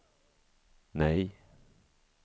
nej